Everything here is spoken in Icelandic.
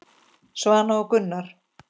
Svana og Gunnar.